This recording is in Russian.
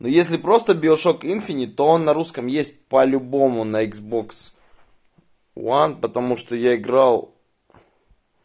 ну если просто биошок инфинит то он на русском есть по-любому на икс бокс уан потому что я играл